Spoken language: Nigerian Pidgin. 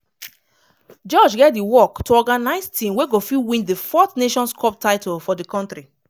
george get di work to organise team wey go fit win di fourth nations cup title for di kontri.